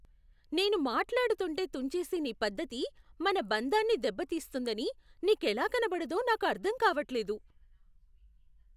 నేను మాట్లాడుతుంటే తుంచేసే నీ పద్ధతి మన బంధాన్ని దెబ్బ తీస్తుందని నీకెలా కనబడదో నాకు అర్థం కావట్లేదు.